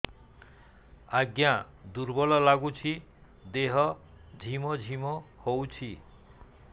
ଆଜ୍ଞା ଦୁର୍ବଳ ଲାଗୁଚି ଦେହ ଝିମଝିମ ହଉଛି